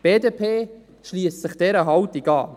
Die BDP schliesst sich dieser Haltung an.